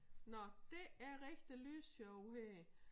Nå det er rigtig lysshow her